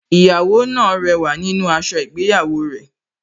Ìyàwó náà rẹwà nínú aṣọ ìgbéyàwó rẹ̀